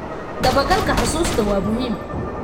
Dabagalka xusuusta waa muhiim.